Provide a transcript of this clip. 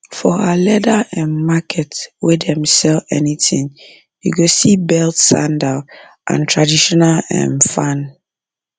for our leather um market wey dem sell anything you go see belt sandal and traditional um fan